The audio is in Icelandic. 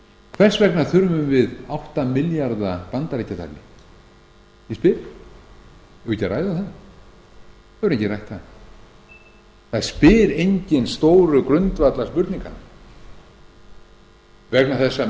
hvers vegna þurfum við átta milljarða bandaríkjadali ég spyr eigum við ekki að ræða það það hefur enginn rætt það það spyr enginn stóru grundvallarspurninganna vegna þess að menn